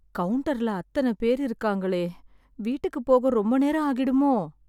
கவுன்டர்ல அத்தனப் பேரு இருக்காங்களே! வீட்டுக்குப் போக ரொம்ப நேரம் ஆகிடுமோ?